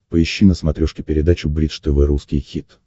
поищи на смотрешке передачу бридж тв русский хит